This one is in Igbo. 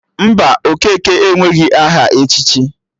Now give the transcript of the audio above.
Mba, Okeke enweghị aha echichi